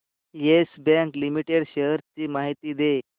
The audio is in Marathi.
येस बँक लिमिटेड शेअर्स ची माहिती दे